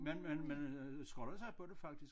Man man øh skolder sig på det faktisk